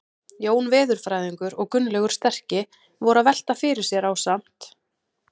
Jón veðurfræðingur og Gunnlaugur sterki voru að velta fyrir sér ásamt